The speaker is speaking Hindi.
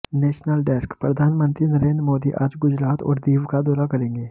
नेशनल डेस्कः प्रधानमंत्री नरेंद्र मोदी आज गुजरात और दीव का दौरा करेंगे